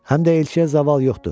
Həm də elçiyə zaval yoxdur.